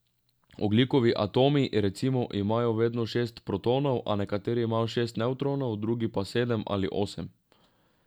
Ogljikovi atomi, recimo, imajo vedno šest protonov, a nekateri imajo šest nevtronov, drugi pa sedem ali osem.